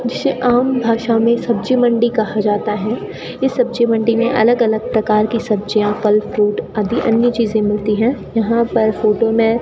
जिसे आम भाषा में सब्जी मंडी कहा जाता है इस सब्जी मंडी में अलग अलग प्रकार की सब्जियां फल फ्रूट आदि अन्य चीजें मिलती है यहां पर फोटो में --